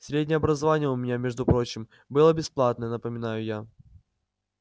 среднее образование у меня между прочим было бесплатное напоминаю я